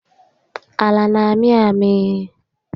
Ala n'amị amị